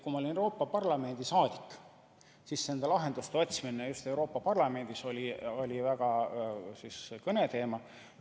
Kui ma olin Euroopa Parlamendi liige, siis nende lahenduste otsimine Euroopa Parlamendis oli vägagi kõneteema.